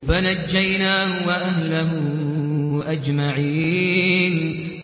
فَنَجَّيْنَاهُ وَأَهْلَهُ أَجْمَعِينَ